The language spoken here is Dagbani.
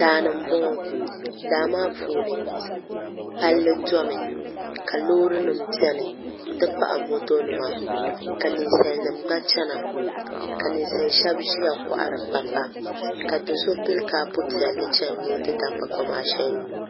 Daani n boŋo daa maa puuni palli domi ka Loori nim biɛni n ti pahi moto nima ka ninsal nim gba biɛni ka ninsal shab ʒiya kohari kpakpa ka do so pili kaapu piɛlli chɛni ni o ti da kpakpa maa shɛli nyu